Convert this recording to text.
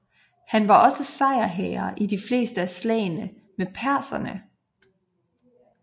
Han var også sejrherre i de fleste af slagene med perserne